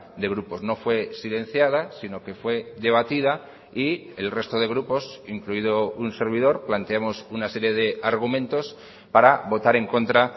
de grupos no fue silenciada sino que fue debatida y el resto de grupos incluido un servidor planteamos una serie de argumentos para votar en contra